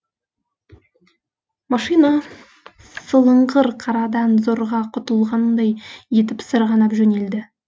машина сылыңғыр қарадан зорға құтылғандай етіп сырғанап жөнелді